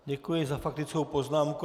Děkuji za faktickou poznámku.